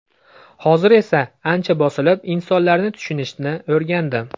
Hozir esa ancha bosilib, insonlarni tushunishni o‘rgandim.